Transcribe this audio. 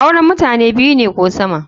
Auren mutane biyu ne ko sama.